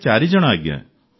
ଆମେ ଚାରି ଜଣ ଆଜ୍ଞା